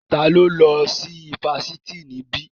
Ta ló lọ sí ifásitì níbí?